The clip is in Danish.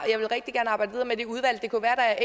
jeg